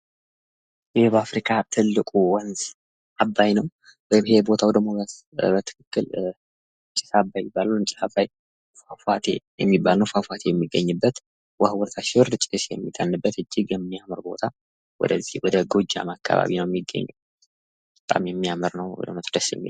ይህ በአፍሪካ ትልቁ ወንዝ አባይ ነው። ይሄ ቦታው ደግሞ ጭስ አባይ ይባላል። ውሃው በታች ሲወርድ ጭስ የሚፈልቅበት እጅግ የሚያምር ስፍራ ነው። ወደ ጎጃም አካባቢ ነው የሚገኘው።